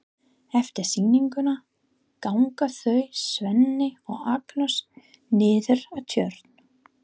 Eftir sýninguna ganga þau Svenni og Agnes niður að Tjörn.